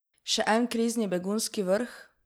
Še en krizni begunski vrh?